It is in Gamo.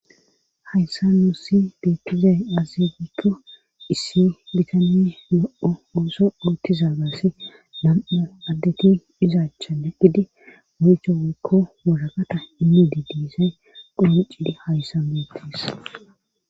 Hayssan nuussi beettizay aaze giikko issi gitanne louo ooso oottidaagasi nam7u addeti iza achan eqqidi wotro woykko waraqata immidi deuizay qonccidi hayssan beettees.